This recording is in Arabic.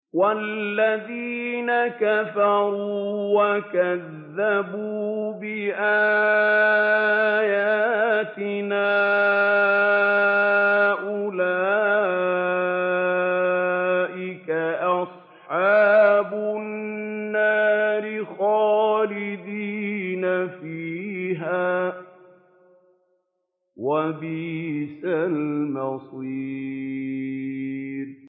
وَالَّذِينَ كَفَرُوا وَكَذَّبُوا بِآيَاتِنَا أُولَٰئِكَ أَصْحَابُ النَّارِ خَالِدِينَ فِيهَا ۖ وَبِئْسَ الْمَصِيرُ